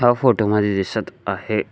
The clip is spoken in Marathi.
या फोटो मध्ये दिसत आहे--